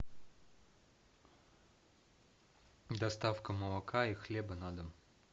доставка молока и хлеба на дом